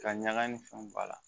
Ka ɲaga ni fɛnw b'a la